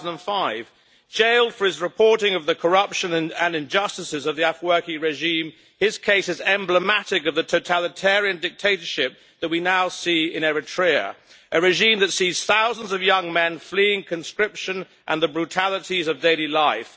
2005. Jailed for his reporting of the corruption and injustices of the Afwerki regime, his case is emblematic of the totalitarian dictatorship that we now see in Eritrea, a regime that sees thousands of young men fleeing conscription and the brutalities of daily life.